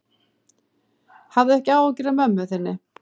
Hafðu ekki áhyggjur af mömmu þinni.